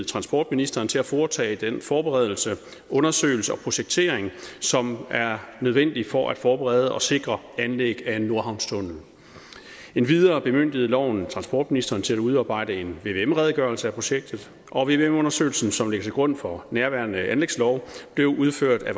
transportministeren til at foretage den forberedelse undersøgelse og projektering som er nødvendig for at forberede og sikre anlæg af en nordhavnstunnel endvidere bemyndigede loven transportministeren til at udarbejde en vvm redegørelse af projektet og vvm undersøgelsen som ligger til grund for nærværende anlægslov blev udført af